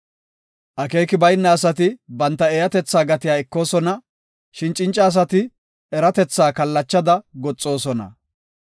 Akeeki bayna asi ba eeyatetha gatiya ekoosona; shin cinca asi eratethi kallachada goxoosona.